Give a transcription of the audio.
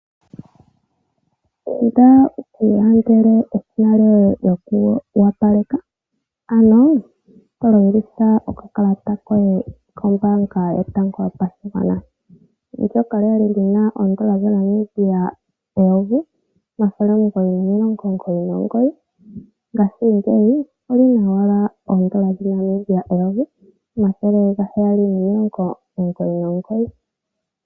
Inda wuu kiilandele eshina lyoye lyoku wapaleka, ano tolongitha okakalata koye koombaanga yotango yopashigwana, ndyoka lya li lyina oondola dhaNamibia 1999 ngashingeyi olyina owala oondola dhaNamibia 1799.